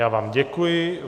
Já vám děkuji.